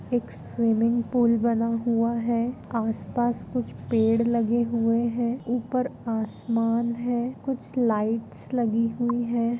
एक swimming pool बना हुआ है आस-पास कुछ पेड़ लगे हुए हैं ऊपर आसमान है कुछ लाइट्स लगी हुई है।